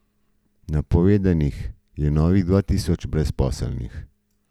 Napovedanih je novih dva tisoč brezposelnih.